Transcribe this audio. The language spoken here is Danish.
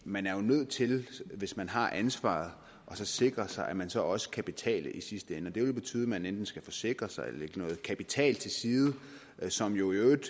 man er jo nødt til hvis man har ansvaret at sikre sig at man så også kan betale i sidste ende og det vil betyde at man enten skal forsikre sig eller lægge noget kapital til side som i øvrigt